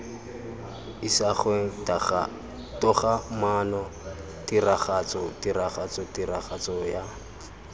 isagweng togamaano tiragatso tiragatso tiragatsoya